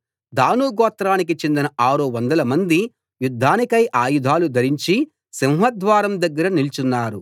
దాను గోత్రానికి చెందిన ఆరు వందలమంది యుధ్ధానికై ఆయుధాలు ధరించి సింహద్వారం దగ్గర నిల్చున్నారు